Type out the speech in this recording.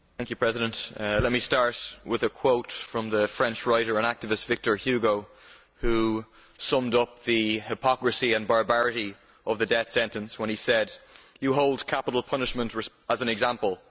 Mr President, let me start with a quote from the French writer and activist Victor Hugo, who summed up the hypocrisy and barbarity of the death sentence when he said, You hold up capital punishment as an example.